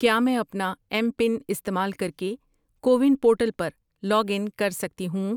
کیا میں اپنا ایم پن استعمال کر کے کو ون پورٹل پر لاگ ان کر سکتی ہوں؟